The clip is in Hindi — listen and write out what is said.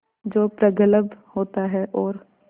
जो प्रगल्भ होता है और